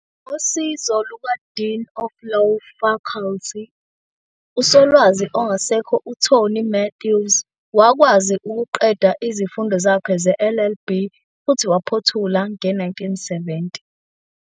Ngosizo lukaDean of Law Faculty, uSolwazi ongasekho uTony Matthews, wakwazi ukuqeda izifundo zakhe ze-LLB futhi waziphothula nge-1970.